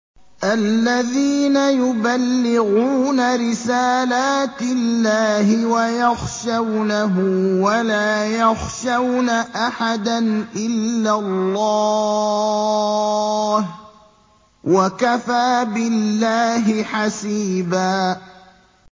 الَّذِينَ يُبَلِّغُونَ رِسَالَاتِ اللَّهِ وَيَخْشَوْنَهُ وَلَا يَخْشَوْنَ أَحَدًا إِلَّا اللَّهَ ۗ وَكَفَىٰ بِاللَّهِ حَسِيبًا